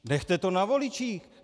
Nechte to na voličích.